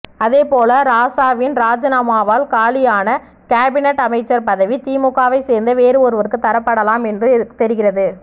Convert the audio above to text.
அதே போல ராசாவின் ராஜினாமாவால் காலியான கேபினட் அமைச்சர் பதவி திமுகவைச் சேர்ந்த வேறு ஒருவருக்கு தரப்படலாம் என்றும் தெரிகிறது